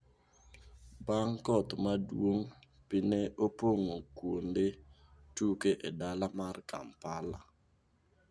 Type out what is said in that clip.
Bang' koth maduong',pi ne opong'o kuonde tuke e dala mar Kampala